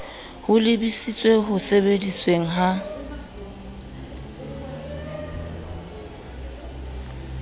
ho lebisitseng ho sebedisweng ha